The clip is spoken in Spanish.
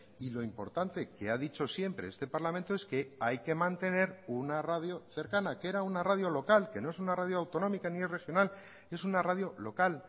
y lo importante que ha dicho siempre este parlamento es que hay que mantener una radio cercana que era una radio local que no es una radio autonómica ni es regional es una radio local